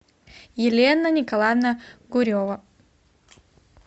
елена николаевна курева